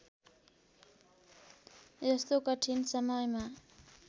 यस्तो कठिन समयमा